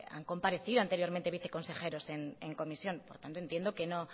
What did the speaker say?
han comparecido anteriormente viceconsejeros en comisión por tanto entiendo que no